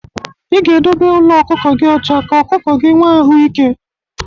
ị ga-edobe ụlọ ọkụkọ gị ọcha ka ọkụkọ gị nwee ahụ ịke.